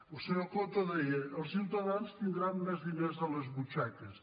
el senyor coto deia els ciutadans tindran més diners a les butxaques